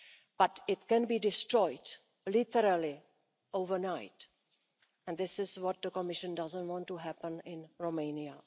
But it can be destroyed literally overnight and this is what the Commission doesn't want to happen in Romania.